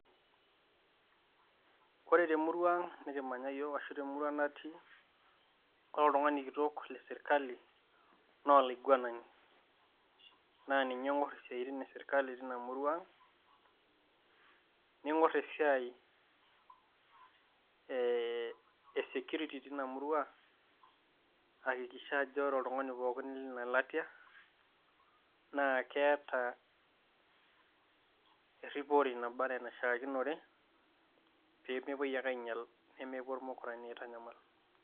Kore temurrua nikimanya iyiok ashu temurrua natii, ore oltung'ani kitok le sirkali naa olaiguanani naa ninye oing'or isiatin e sirkali tina murrua aang', ning'or esiai e security teina murrua, aikakikisha ajo kore oltung'ani pookin leina latia naa keeta eripore naba naa enaishakinore pee mepuoi ake ainyal nemepuo irmukorani ainyal.